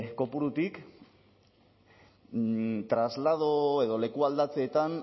kopurutik traslado edo lekualdatzeetan